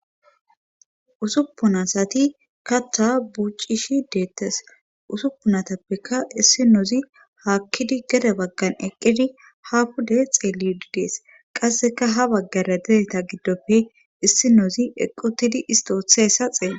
Usuppunasati katta buucishi deettes usuppunatappeka issi noozi haakkidi geda baggan eqqidi ha kude xeellididees qasseka ha baggara dereta giddoppe issi nozi eqqutidi istootheessa xeele